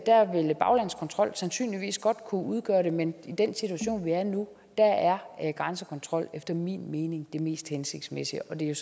vil en baglandskontrol sandsynligvis godt kunne udgøre det men i den situation vi er i nu er er grænsekontrol efter min mening det mest hensigtsmæssige og det er